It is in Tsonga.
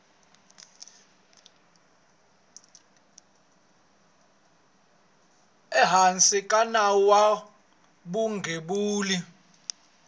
ehansi ka nawu wa vugembuli